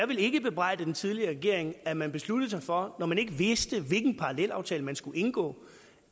vil ikke bebrejde den tidligere regering at man besluttede sig for når man ikke vidste hvilken parallelaftale man skulle indgå